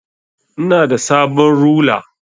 Ina da sabon rula.